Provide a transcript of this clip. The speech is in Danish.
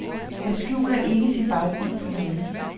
Han skjuler ikke sin baggrund for nogen.